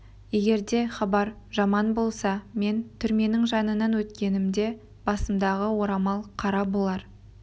егерде хабар жаман болса мен түрменің жанынан өткенімде басымдағы орамал қара болар